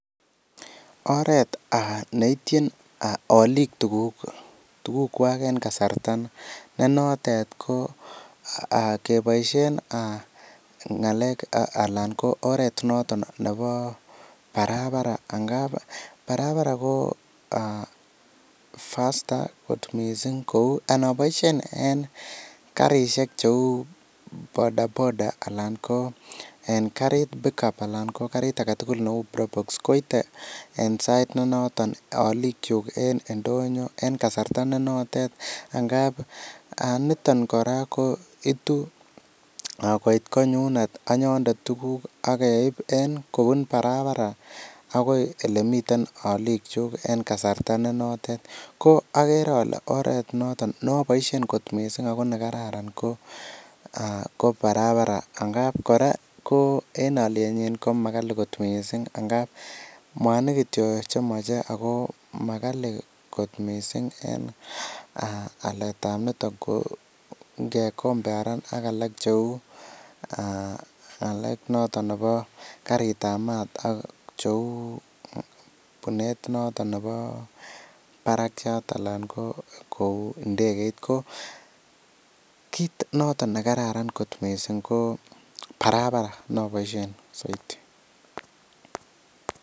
Oret neitchin olik tukukwai eng kasarta ne notet ko keboishe ng'alek eng oret noton nebo barabara. Barabara ko faster kot mising kou anaboishen karishek cheu bodaboda anan ko karit pickup anan karit age tugul neu brobox koitei en sait ne noton. Olik chu en ndoyo eng kasarta ne notet. Nngap niton kora ko itu koit koinyundet tukuk ak keip en kopun barabara akoi ole mitei alikchuk eng kasarta ne notet. Ko agere ale oret ne notet no boishen kot mising notok ne kararan ko barabara, ngap kora en olienyi ko makali kot mising. Ngap mwanik kitio chemochei ako makali kot mising. tam ne comparen ak tukuk alak ng'alek notok nebo karitab maat, ak bunet notok nebo barakyat anan nebo ndegeit ko kiit notok ne kararan ko mising ko barabara noboishe soiti.